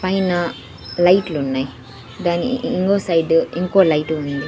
పైన లైట్లున్నాయ్ దాని ఇంకో సైడు ఇంకో లైటు ఉంది.